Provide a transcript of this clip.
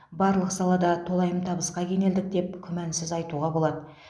барлық салада толайым табысқа кенелдік деп күмәнсіз айтуға болады